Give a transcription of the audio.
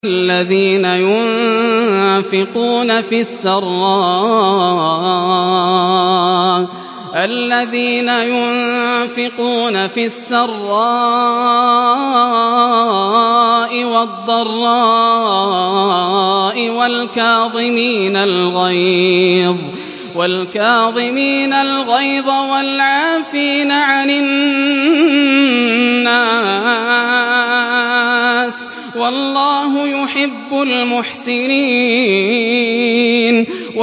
الَّذِينَ يُنفِقُونَ فِي السَّرَّاءِ وَالضَّرَّاءِ وَالْكَاظِمِينَ الْغَيْظَ وَالْعَافِينَ عَنِ النَّاسِ ۗ وَاللَّهُ يُحِبُّ الْمُحْسِنِينَ